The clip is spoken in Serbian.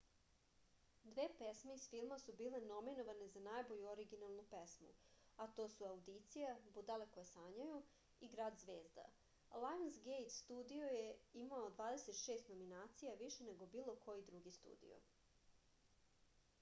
две песме из филма су биле номиноване за најбољу оригиналну песму а то су аудиција будале које сањају и град звезда . лајонсгејт студио је имао 26 номинација — више него било који други студио